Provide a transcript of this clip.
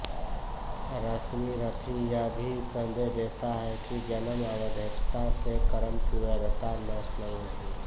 रश्मिरथी यह भी सन्देश देता है कि जन्मअवैधता से कर्म की वैधता नष्ट नहीं होती